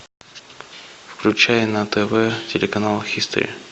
включай на тв телеканал хистори